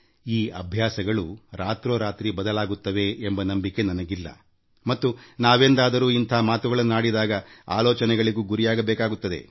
ಈ ಅಭ್ಯಾಸಗಳು ರಾತ್ರೋರಾತ್ರಿ ಬದಲಾಗುತ್ತವೆ ಎಂಬ ನಂಬಿಕೆ ನನಗಿಲ್ಲ ಮತ್ತು ನಾವೆಂದಾದರೂ ಇಂಥ ಮಾತುಗಳನ್ನಾಡಿದಾಗ ಆಲೋಚನೆಗಳಿಗೂ ಗುರಿಯಾಗಬೇಕಾಗುತ್ತದೆ